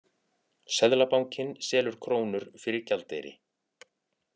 Seðlabankinn selur krónur fyrir gjaldeyri